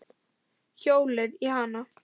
Hjólið í hana.